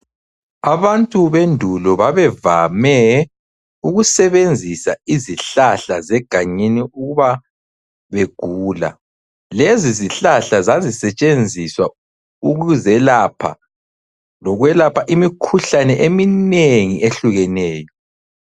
Abantu bendulo babevame ukusebenzisa izihlahla zegangeni uba begula. Lezizihlahla zazisetshenziswa ukuzelapha lokwelapha imikhuhlane eminengi ehlukeneyo.